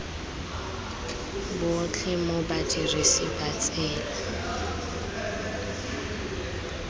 botlhe mo badirisi ba tsela